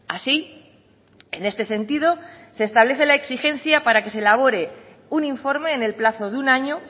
así en este sentido se establece la exigencia para que se elabore un informe en el plazo de un año